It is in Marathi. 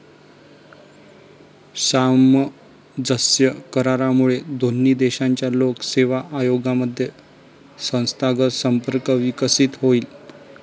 सामंजस्य करारामुळे दोन्ही देशांच्या लोक सेवा आयोगांमध्ये संस्थागत संपर्क विकसित होईल.